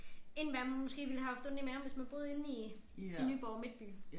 End hvad man måske ville have haft ondt i maven hvis man boede inde i i Nyborg Midtby